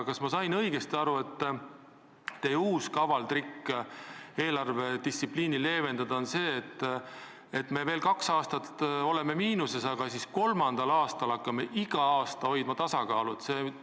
Kas ma sain õigesti aru, et teie uus kaval trikk eelarvedistsipliini leevendada on teooria, et me veel kaks aastat oleme miinuses, aga siis kolmandal aastal hakkame iga aasta hoidma tasakaalu?